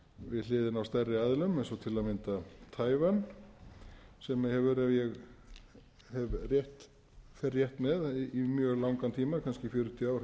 við hliðina á stærri aðilum eins og til að mynda tævan sem hefur ef ég fer rétt með í mjög langan tíma kannski fjörutíu ár haft